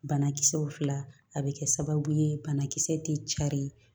Banakisɛw fila a bɛ kɛ sababu ye banakisɛ tɛ cari